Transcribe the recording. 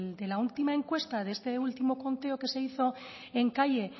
en la última encuesta de este último conteo que se hizo en calle